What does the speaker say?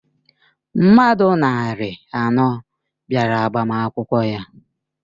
Mmadụ narị anọ bịara agbamakwụkwọ ya.